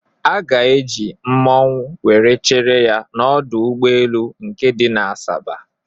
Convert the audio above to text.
A ga-eji mmanwu were chere ya n'ọdọ ụgbọelu nke dị na Asaba